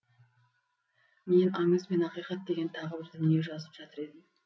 мен аңыз бен ақиқат деген тағы бір дүние жазып жатыр едім